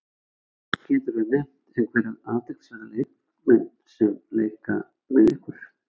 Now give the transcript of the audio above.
Geturðu nefnt einhverja athyglisverða leikmenn sem leika með ykkur?